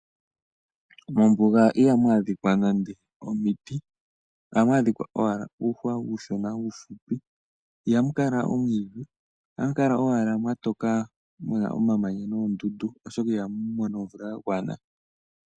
Mombuga ihamu adhikwa nande omiti. Ohamu adhikwa owala uuhwa uushona uufupi. Ihamukala omwiidhi ohamu kala owala mwa toka muna omamanya noondundu oshoka ihamu mono omvula ya gwana.